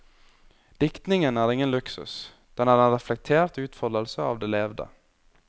Diktningen er ingen luksus, den er en reflektert utfoldelse av det levde.